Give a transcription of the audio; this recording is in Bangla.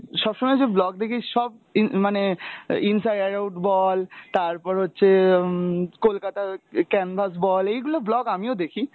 সবসময় যে vlog দেখিস সব ইন~ মানে inside out বল তারপর হচ্ছে উম কলকাতা canvas বল এইগুলো vlog আমিও দেখি,